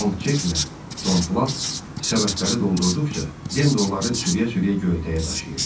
Longçeklə Tom Plat səbətləri doldurduqca, Den də onları sürüyə-sürüyə göyərtəyə daşıyırdı.